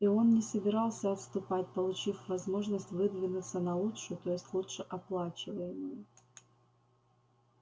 и он не собирался отступать получив возможность выдвинуться на лучшую то есть лучше оплачиваемую